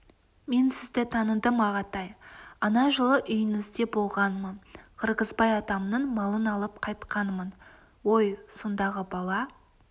мен сізді таныдым ағатай ана жылы үйіңізде болғанмын қырғызбай атамның малын алып қайтқанмын ой сондағы бала